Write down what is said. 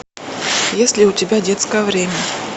есть ли у тебя детское время